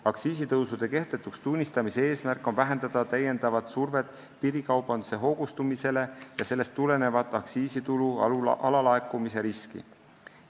Aktsiisitõusude kehtetuks tunnistamise eesmärk on vähendada täiendavat survet piirikaubanduse hoogustumisele ja sellest tulenevat aktsiisitulu alalaekumise riski.